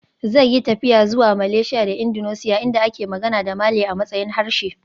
Zai yi tafiya zuwa Malaysia da Indonesia inda ake magana da Malay a matsayin harshe